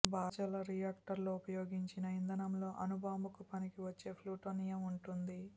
భారజల రియాక్టర్లో ఉపయోగించిన ఇంధనంలో అణు బాంబుకు పనికివచ్చే ప్లుటోనియం ఉంటుంది